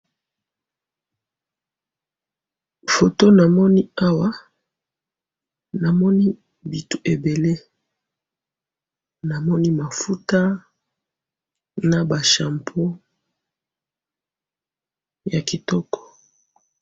Photo namoni awa, namoni bitu ebele ,namoni mafuta na ba shampoo ya kitoko